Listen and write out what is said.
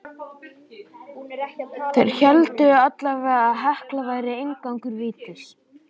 Þeir héldu allavega að Hekla væri inngangur vítis.